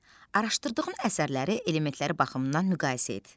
Araşdırdığın əsərləri elementləri baxımından müqayisə et.